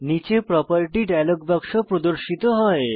নীচে property dialogue বাক্স প্রদর্শিত হয়